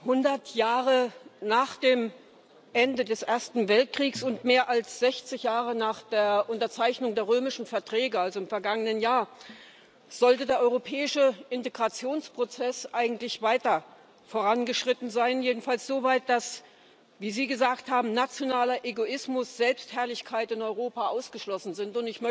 Hundert Jahre nach dem Ende des Ersten Weltkriegs und mehr als sechzig Jahre nach der Unterzeichnung der Römischen Verträge also im vergangenen Jahr sollte der europäische Integrationsprozess eigentlich weiter vorangeschritten sein, jedenfalls so weit, dass wie Sie gesagt haben nationaler Egoismus, Selbstherrlichkeit in Europa ausgeschlossen sind.